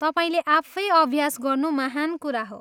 तपाईँले आफै अभ्यास गर्नु महान् कुरा हो।